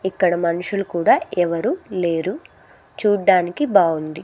ఇక్కడ మనుషులు కూడా ఎవరు లేరు చూడ్డానికి బావుంది.